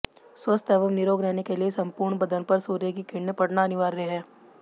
स्वस्थ एवं निरोग रहने के लिए संपूर्ण बदन पर सूर्य की किरणें पड़ना अनिवार्य है